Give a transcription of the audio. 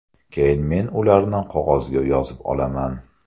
Keyin men ularni qog‘ozga yozib olaman.